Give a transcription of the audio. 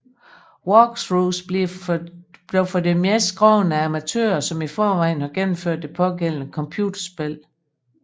Walkthroughs bliver for det meste skrevet af amatører som i forvejen har gennemført det pågældende computerspil